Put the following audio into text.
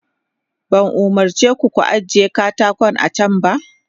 Ban umarce ku da ku ajiye katako a can ba?